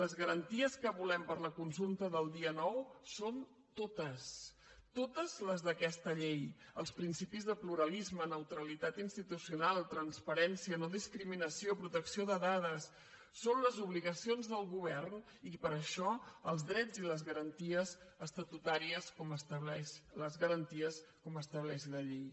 les garanties que volem per a la consulta del dia nou són totes totes les d’aquesta llei els principis de pluralisme neutralitat institucional transparència nodiscriminació protecció de dades són les obligacions del govern i per això els drets i les garanties estatutàries les garanties com estableix la llei